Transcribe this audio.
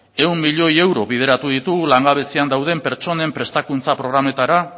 ehun milioi euro bideratu ditugu langabezian dauden pertsonen prestakuntza programetara